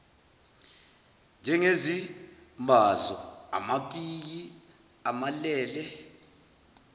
njengezimbazo amapiki amalele